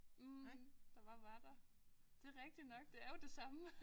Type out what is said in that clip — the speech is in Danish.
Mh der bare var der det rigtig nok det er jo det samme